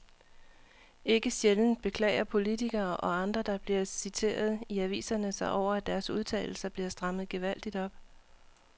Ikke sjældent beklager politikere og andre, der bliver citeret i aviserne sig over, at deres udtalelser bliver strammet gevaldigt op.